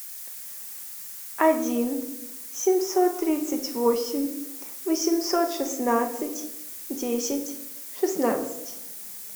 один семьсот тридцать восемь восемьсот шестнадцать десять шестнадцать